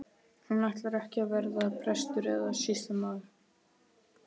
Hún ætlar ekki að verða prestur eða sýslumaður.